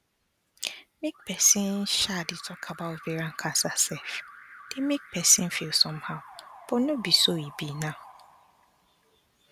make persin um dey talk about ovarian cancer sef dey make persin feel somehow but no be so e be now